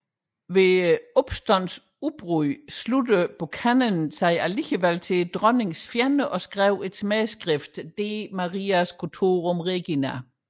Ved opstandens udbrud sluttede Buchanan sig dog til dronningens fjender og skrev et smædeskrift De Maria Scotorum regina